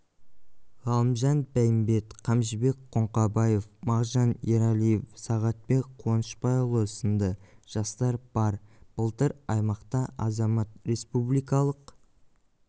ғалымжан бәйімбет қамшыбек қоңқабаев мағжан ералиев сағатбек қуанышбайұлы сынды жастар бар былтыр аймақта азамат республикалық